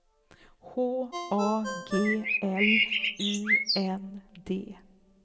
H A G L U N D